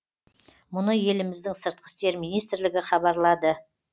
мұны еліміздің сыртқы істер министрлігі хабарлады